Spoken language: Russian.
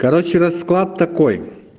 короче расклад такой